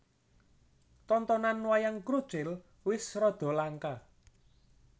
Tontonan Wayang Krucil wis rada langka